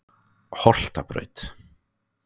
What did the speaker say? Holtabraut